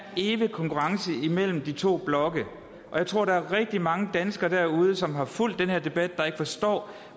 evige konkurrence mellem de to blokke og jeg tror der er rigtig mange danskere derude som har fulgt den her debat der ikke forstår